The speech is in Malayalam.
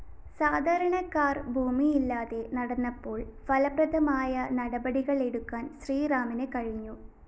സാധാരണക്കാര്‍ ഭൂമിയില്ലാതെ നടന്നപ്പോള്‍ ഫലപ്രദമായ നടപടികളെടുക്കാന്‍ ശ്രീറാമിന് കഴിഞ്ഞു